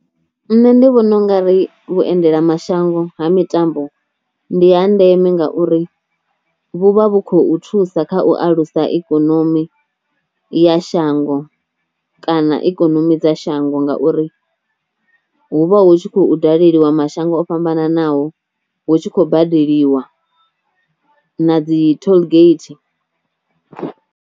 Nṋe ndi vhona u nga ri vhuendelamashango ha mitambo ndi ha ndeme ngauri vhu vha vhu khou thusa kha u alusa ikonomi ya shango kana ikonomi dza shango ngauri hu vha hu tshi khou daleliwa mashango o fhambananaho hu tshi khou badeliwa na dzi tollgate.